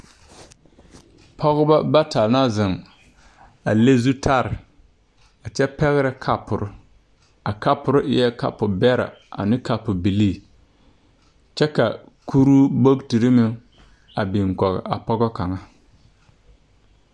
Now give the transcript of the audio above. Pɔgeba bata la zeŋ a le zutare kyɛ pɛgrɛ kapore a kapore eɛ kapobɛrɛ ane kapobilii kyɛ ka kuruu a biŋ kɔge a pɔge kaŋa.